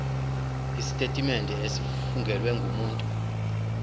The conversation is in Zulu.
isitetimente esifungelwe ngumuntu